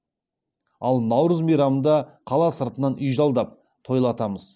ал наурыз мейрамында қала сыртынан үй жалдап тойлатамыз